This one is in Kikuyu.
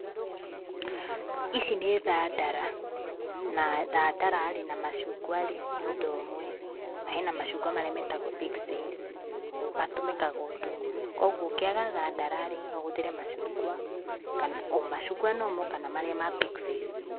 Ici nĩ thadara, na thadara-rĩ na macungwa-rĩ nĩ undũ ũmwe, Na hena macung'wa marĩa metagwo pixies matũmĩkaga ũndũ ũmwe. Koguo ũngĩaga thadara-rĩ, noũhũthĩre macungwa, o macungwa normal kana marĩa ma pixies.